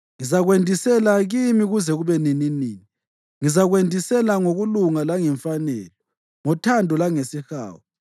Ngizakwendisela kimi kuze kube nininini; ngizakwendisa ngokulunga langemfanelo, ngothando langesihawu.